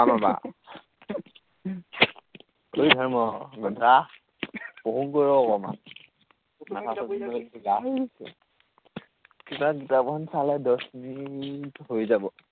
আহ ধৰ্ম গাধা, পঢ়োগৈ ৰ অকনমান। মাথাটো কিবা কিতাপ এখন চালে দহমিনিট হৈ যাব।